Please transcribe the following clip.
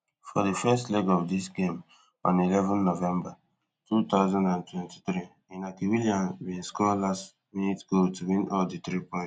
for di first leg of dis game on eleven november two thousand and twenty-three inaki williams bin score last minute goal to win all di three points